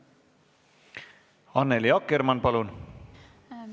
Annely Akkermann, palun!